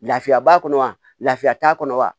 Lafiya b'a kɔnɔ wa lafiya t'a kɔnɔ wa